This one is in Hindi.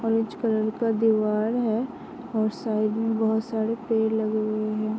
ऑरेंज कलर का दीवार है और साइड में बहोत सारे पेड़ लगे हुए हैं।